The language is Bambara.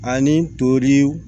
Ani tori